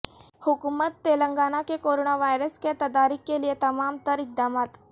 حکومت تلنگانہ کے corona virus کے تدارک کیلئے تمام تر اقدامات